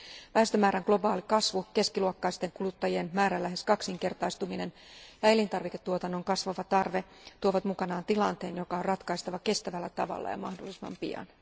Väestömäärän globaali kasvu, keskiluokkaisten kuluttajien määrän lähes kaksinkertaistuminen ja elintarviketuotannon kasvava tarve tuovat mukanaan tilanteen, joka on ratkaistava kestävällä tavalla ja mahdollisimman pian.